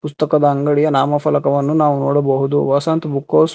ಪುಸ್ತಕದ ಅಂಗಡಿಯ ನಾಮ ಫಲಕವನ್ನು ನಾವು ನೋಡಬಹುದು ವಸಂತ ಬುಕ್ ಹೌಸ್ .